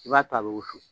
I b'a to a bɛ wusu